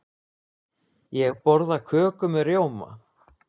Ég borða köku með rjóma.